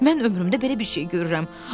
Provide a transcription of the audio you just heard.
Mən ömrümdə belə bir şey görürəm.